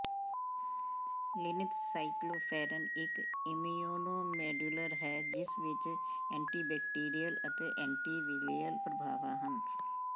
ਲਿਨਿਥ Cycloferon ਇਕ immunomodulator ਹੈ ਜਿਸ ਵਿੱਚ ਐਂਟੀਬੈਕਟੀਰੀਅਲ ਅਤੇ ਐਂਟੀਵਿਲਿਅਲ ਪ੍ਰਭਾਵਾਂ ਹਨ